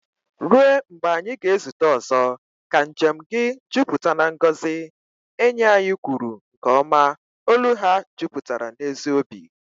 "Ruo mgbe anyị ga-ezute ọzọ, ka njem gị jupụta na ngọzi," enyi ahụ kwuru nke ọma, olu ha jupụtara n'ezi obi